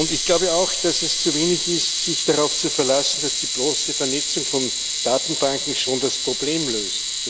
Ich glaube auch, dass es zu wenig ist, sich darauf zu verlassen, dass die bloße Vernetzung von Datenbanken schon das Problem löst.